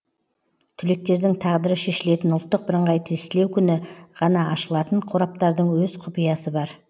түлектердің тағдыры шешілетін ұлттық бірыңғай тестілеу күні ғана ашылатын қораптардың өз құпиясы бар